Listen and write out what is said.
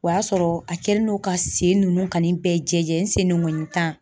O y'a sɔrɔ a kɛlen don ka sen ninnu kani bɛɛ jɛ n sendengonin tan.